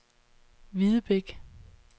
Hvidebæk